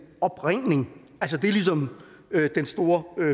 opringning det er ligesom den store